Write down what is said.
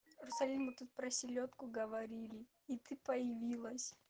арусали мы тут про селёдку говорили и ты появилась